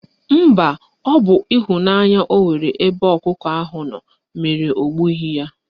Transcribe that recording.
Mba, ọ bụ ịhụnanya ọ nwere ebe ọkụkọ ahụ nọ mere o gbughi y